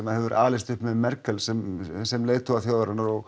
hefur alist upp með Merkel sem sem leiðtoga þjóðarinnar og